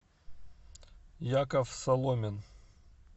яков соломин